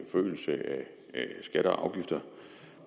forøgelse af skatter og afgifter